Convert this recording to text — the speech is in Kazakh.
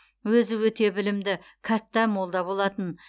өзі өте білімді кәтта молда болатын